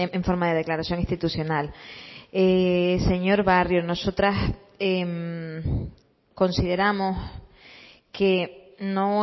en forma de declaración institucional señor barrio nosotras consideramos que no